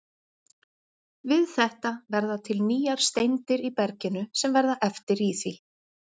Við þetta verða til nýjar steindir í berginu sem verða eftir í því.